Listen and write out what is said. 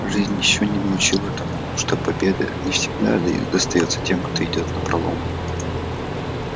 а жизнь ещё не научила тому что победа не всегда достаётся тем кто идёт напролом